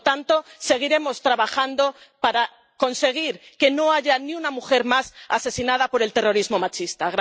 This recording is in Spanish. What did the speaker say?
Por lo tanto, seguiremos trabajando para conseguir que no haya ni una mujer más asesinada por el terrorismo machista.